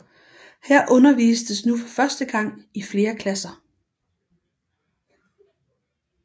Her undervistes nu for første gang i flere klasser